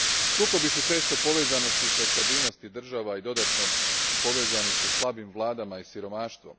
Sukobi su često u povezanosti sa stabilnosti država i dodatno povezani sa slabim vladama i siromaštvom.